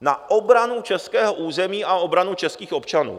na obranu českého území a obranu českých občanů.